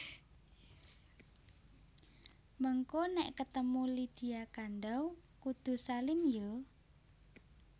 Mengko nek ketemu Lydia Kandouw kudu salim yo